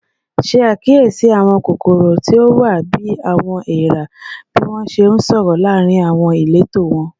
Ṣe akiyesi awọn kokoro ti o wa bi "awọn eera" bi wọn ṣe nsọrọ laarin awọn ileto wọn